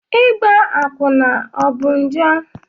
Ịgba akwụna ọ bụ njọ?